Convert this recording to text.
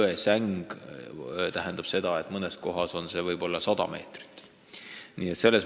Jõesängi puhul võib see mõnes kohas isegi 100 meetrit lai olla.